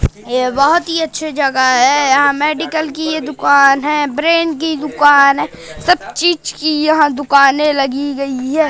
ये बहोत ही अच्छी जगह है यहां मेडिकल की ये दुकान है ब्रेन की दुकान है सब चीज की यहां दुकानें लगी गई है।